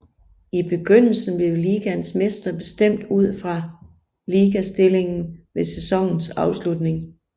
I begyndelse blev ligaens mester bestemt ud fra ligastillingen ved sæsonens afslutning